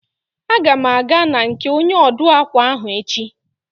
A ga m aga na nke onye ọ dụụ akwa ahụ echi.